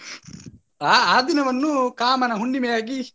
ಆ ಆ ದಿನವನ್ನು ಕಾಮನ ಹುಣ್ಣಿಮೆಯಾಗಿ.